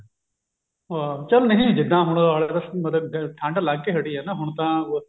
ਹਾਂ ਚੱਲ ਨਹੀ ਜਿਦਾਂ ਹੁਣ ਮਤਲਬ ਠੰਡ ਲੱਗ ਕਿ ਹਟੀ ਆ ਹੁਣ ਤਾਂ